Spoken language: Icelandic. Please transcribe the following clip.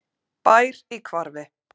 Bær í hvarfi.